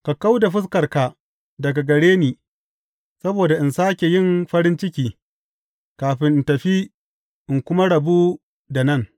Ka kau da fuskarka daga gare ni, saboda in sāke yin farin ciki kafin in tafi in kuma rabu da nan.